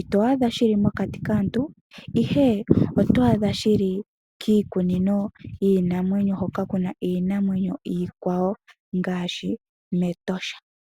ito adha shili mokati kaantu ihe oto adha shili kiikunino yiinamwenyo hoka kuna iinamwenyo iikwawo ngaashi mEtosha.